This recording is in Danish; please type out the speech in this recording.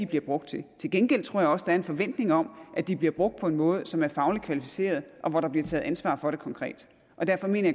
bliver brugt til til gengæld tror jeg også der er en forventning om at de bliver brugt på en måde som er fagligt kvalificeret og hvor der bliver taget ansvar for det konkret derfor mener